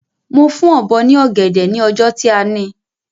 Mo fún Ọ̀bọ́ ní ọ̀gẹ̀dẹ̀ ni ọjọ́ tí a ni